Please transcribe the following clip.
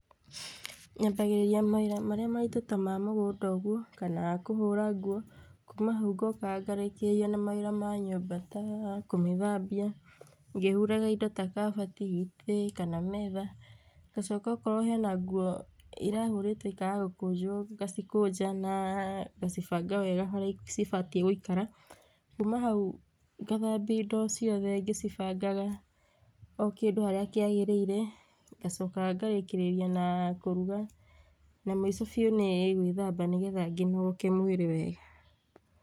Nyambagĩrĩria mawĩra marĩa maritũ ta ma mũgũnda ũguo, kana kũhũra nguo, kuma hau ngoka ngarĩkĩrĩria na mawĩra ma nyũmba taa kũmĩthambia ngĩhuraga indo ta kabati, itĩ kana metha, ngacoka okorwo hena nguo irahũrĩtwo ikaga gũkũnjwo ngacikũnja ngacibanga wega harĩa cibatiĩ gũikara, kuma hau ngathabia indo ciothe ngĩcibangaga okĩndũ harĩa kĩagĩrĩire ngacoka ngarĩkĩrĩria naa kũruga na mũico biu nĩ ngwĩthamba nigetha ngĩnogoke mwĩrĩ wega.